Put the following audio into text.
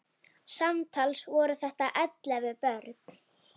Samtals voru þetta ellefu börn.